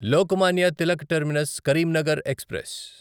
Lokmanya Tilak terminus Karimnagar express